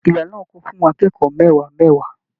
Ìla náà kún fún akẹ́kọ̀ọ́ mẹwa mẹwa.